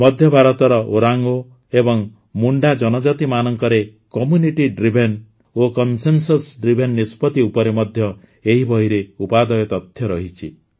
ମଧ୍ୟଭାରତର ଓରାଓଁ ଏବଂ ମୁଣ୍ଡା ଜନଜାତିମାନଙ୍କରେ community driven ଓ କନ୍ସେନସସ୍ ଡ୍ରିଭେନ ନିଷ୍ପତ୍ତି ଉପରେ ମଧ୍ୟ ଏହି ବହିରେ ଉପାଦେୟ ତଥ୍ୟ ରହିଛି